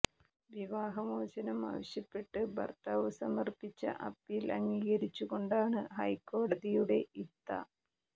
വിവാഹ മോചനം ആവശ്യപ്പെട്ട് ഭർത്താവ് സമർപ്പിച്ച അപ്പീൽ അംഗീകരിച്ച് കൊണ്ടാണ് ഹൈക്കോടതിയുടെ ഇത്ത